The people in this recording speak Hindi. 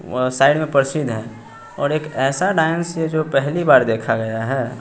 व साइड में प्रसिद्ध है और एक ऐसा डांस है जो पहली बार देखा गया है।